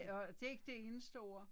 Og det er ikke det eneste ord